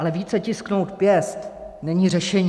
Ale více tisknout pěst není řešení.